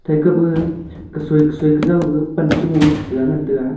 phaikap ma kasui kasui kajoi ga pan cha gong ja ngan taga.